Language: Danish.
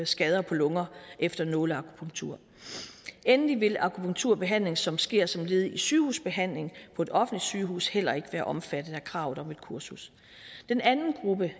skader på lunger efter nåleakupunktur endelig vil akupunkturbehandling som sker som led i sygehusbehandling på et offentligt sygehus heller ikke være omfattet af kravet om et kursus den anden gruppe